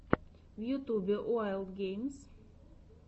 в ютьюбе уайлд геймс